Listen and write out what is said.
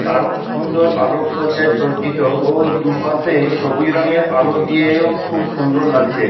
দারুন সুন্দর আলোক সজ্জায় সজ্জিত ও দুপাশে সবুজ রঙের আলো দিয়েও খুব সুন্দর লাগছে।